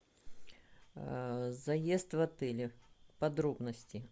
заезд в отеле подробности